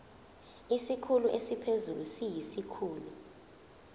isikhulu esiphezulu siyisikhulu